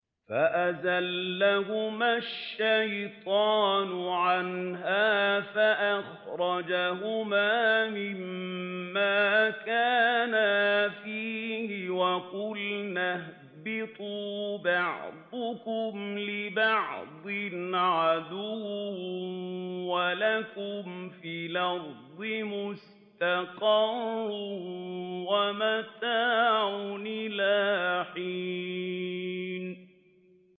فَأَزَلَّهُمَا الشَّيْطَانُ عَنْهَا فَأَخْرَجَهُمَا مِمَّا كَانَا فِيهِ ۖ وَقُلْنَا اهْبِطُوا بَعْضُكُمْ لِبَعْضٍ عَدُوٌّ ۖ وَلَكُمْ فِي الْأَرْضِ مُسْتَقَرٌّ وَمَتَاعٌ إِلَىٰ حِينٍ